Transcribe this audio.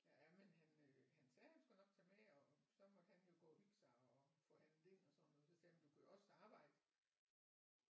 Ja men han øh han sagde han skulle nok tage med og så måtte han jo gå og hygge sig og få handlet ind og sådan noget og så sagde jeg men du kunne jo også arbejde